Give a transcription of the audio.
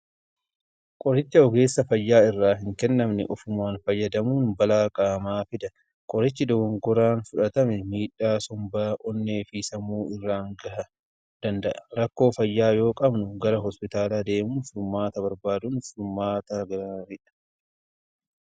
Qoricha ogeessa fayyaa irraa hin kennamne ofumaan fayyadamuun balaa qaamaa fida. Qorichi dogongoraan fudhatame miidhaa sombaa, onnee fi sammuu irraan ga'uu danda'a. Rakkoo fayyaa yoo qabnu gara hospitaalaa deemuun furmaata barbaaduun furmaata gaariidha.